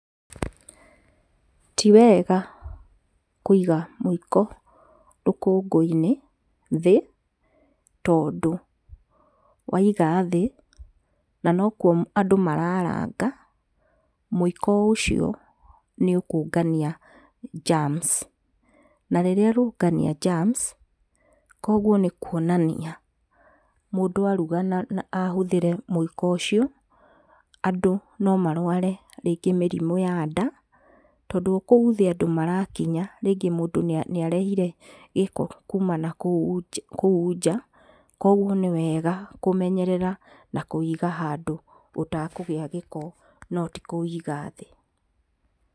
Ti wega kũiga mũiko rũkũngũ-inĩ thĩ, tondũ waiga thĩ na nokuo andũ mararanga mũiko o ũcio nĩũkũngania njams na rĩrĩa ũkũngania germs ,kwoguo nĩkuonania mũndũ aruga ahũthĩre mũiko ũcio andũ no marware rĩngĩ mĩrimũ ya nda, tondũ o kũu thĩ andũ marakinya rĩngĩ mũndũ nĩarehire gĩko kuuma nakũu nja, kwoguo nĩ wega kũmenyerera na kũũiga handũ ũtekũgĩa gĩko no ti kũũiga thĩ.